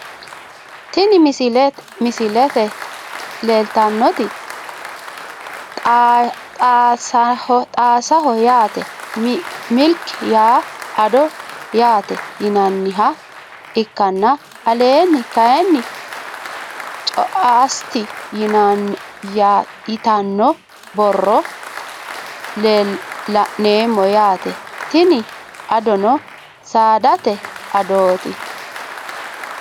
Tini misilete leeltanoti xaasaho yaate milk yaa addo yaate yinaniha ikanna aleeni kaayiini coast yitano borro laneemo yaate tini addono saadate adaoti.